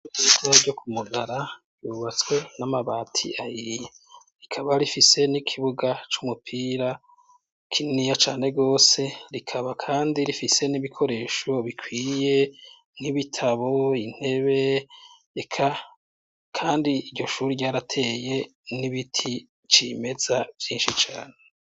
Isira ryo ku mugara yubatswe n'amabati ayia rikaba rifise n'ikibuga c'umupira kiniya cane rose rikaba, kandi rifise n'ibikoresho bikwiye nk'ibitabo intebe eka, kandi iryo shuru ryarateye n'ibiti cima mesa vyinshi cane.